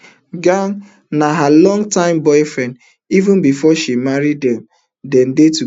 geng na her long time boyfriend even before she marry dem dey togeda